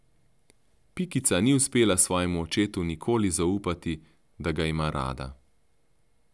Pikica ni uspela svojemu očetu nikoli zaupati, da ga ima rada.